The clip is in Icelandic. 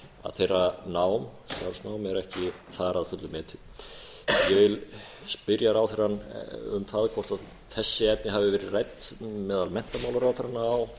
þeirra nám starfsnám er ekki þar að fullu metið ég vil spyrja ráðherrann um það hvort þessi efni hafi verið rædd meðal menntamálaráðherra á norðurlöndunum